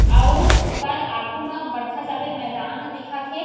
अउ ओकर आगू मा बड़खा जाबेर मैदान ह दिखत हे।